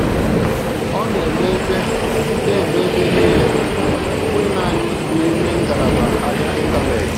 Ọ na-eme ebe na-eme ebe niile, ọ bụghị naanị n’ime ngalaba ahịa Ịntanetị.